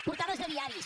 portades de diaris